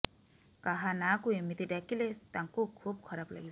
କାହା ନାଁକୁ ଏମିତି ଡାକିଲେ ତାଙ୍କୁ ଖୁବ ଖରାପ ଲାଗିବ